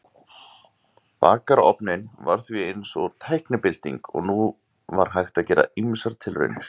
Bakarofninn var því eins og tæknibylting og nú var hægt að gera ýmsar tilraunir.